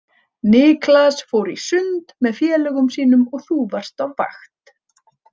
Niklas fór í sund með félögum sínum og þú varst á vakt.